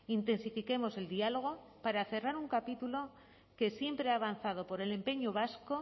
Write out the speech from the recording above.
intensifiquemos el diálogo para cerrar un capítulo que siempre ha avanzado por el empeño vasco